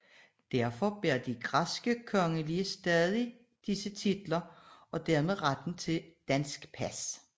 Derfor bærer de græske kongelige stadig disse titler og dermed retten til et dansk pas